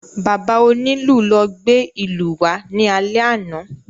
Bàbá onílù ló gbé ìlú wá ní alè àna